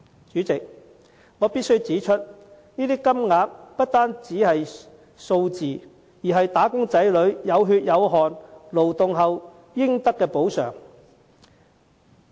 主席，我必須指出，這些金額不單是數字，更是"打工仔女"有血有汗勞動後應得的補償。